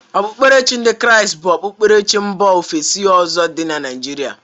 Okpukperechi ndị Kraịst bụkwa okpukperechi Mba ofesi ọzọ dị na Naijiria.